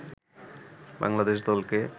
বাংলাদেশ দলকে